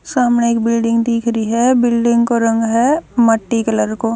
सामणह एक बिल्डिंग दिख री हबिल्डिंग को रंग ह माटी कलर को।